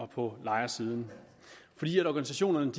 på lejersiden fordi organisationerne